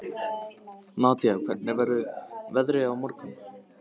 Nadia, hvernig verður veðrið á morgun?